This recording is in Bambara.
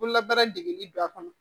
Bololabaara degeli don a kɔnɔ